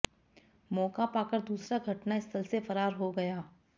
मौका पाकर दूसरा घटनास्थल से फरार हो गया